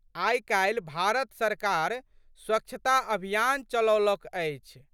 आइकाल्हि भारत सरकार स्वच्छता अभियान चलौलक अछि।